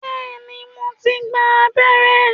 Bẹ́ẹ̀ni, mo ti gba abẹ́rẹ́